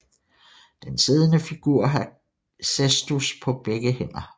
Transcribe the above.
Den siddende figur har cestus på begge hænder